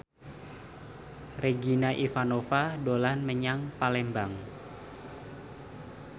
Regina Ivanova dolan menyang Palembang